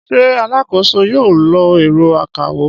Ṣé alákòóso yóò lo ẹ̀rọ akawó?